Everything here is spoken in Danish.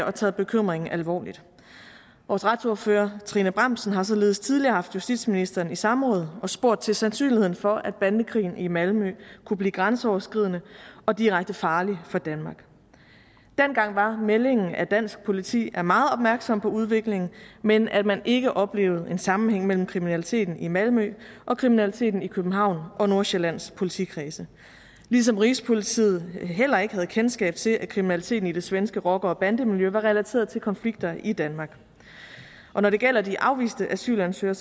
og tager bekymringen alvorligt vores retsordfører trine bramsen har således tidligere haft justitsministeren i samråd og spurgt til sandsynligheden for at bandekrigen i malmø kunne blive grænseoverskridende og direkte farlig for danmark dengang var meldingen at dansk politi var meget opmærksom på udviklingen men at man ikke oplevede en sammenhæng mellem kriminaliteten i malmø og kriminaliteten i københavns og nordsjællands politikredse ligesom rigspolitiet heller ikke havde kendskab til at kriminaliteten i det svenske rocker og bandemiljø var relateret til konflikter i danmark og når det gælder de afviste asylansøgere